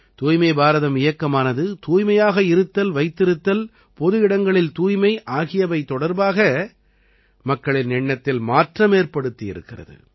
தூய்மை பாரதம் இயக்கமானது தூய்மையாக இருத்தல்வைத்திருத்தல் பொது இடங்களில் தூய்மை ஆகியவை தொடர்பாக மக்களின் எண்ணத்தில் மாற்றமேற்படுத்தி இருக்கிறது